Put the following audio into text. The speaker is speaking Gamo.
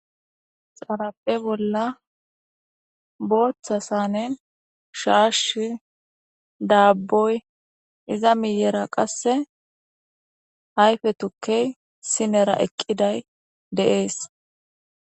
xarape bolla booththa sane shaash daabboy iza miyera qasse hayfe tukkey sinera eqqiday deees